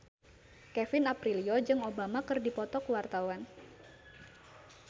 Kevin Aprilio jeung Obama keur dipoto ku wartawan